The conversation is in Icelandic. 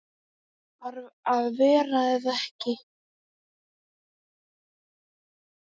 Að vera eða vera ekki.